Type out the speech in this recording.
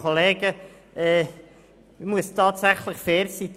Ich muss tatsächlich fair sein.